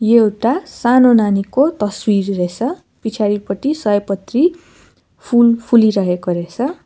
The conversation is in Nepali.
एउटा सानो नानीको तस्बिर रैछ पिछाडिपटि सयपत्री फूल फुलिरहेको रहेछ।